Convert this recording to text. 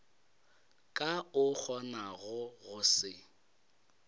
ka o kgonago go se